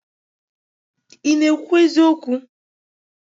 ị na-ekwu eziokwu?